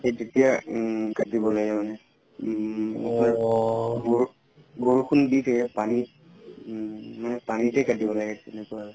উম তেতিয়া উম কাতিব লাগে মানে বৰ বৰষুণ দি থাকে পানি উম মানে পানিতে কাতিব লাগে তেনেকুৱা আৰু